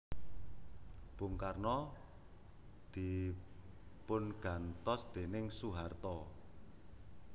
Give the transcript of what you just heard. Bung Karno dipungantos déning Soeharto